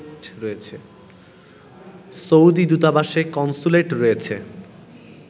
Saudi দূতাবাসের consulate রয়েছে